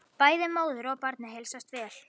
Bæði móður og barni heilsast vel